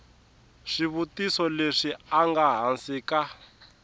swivutiso leswi nga hansi ka